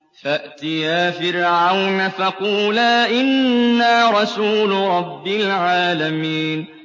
فَأْتِيَا فِرْعَوْنَ فَقُولَا إِنَّا رَسُولُ رَبِّ الْعَالَمِينَ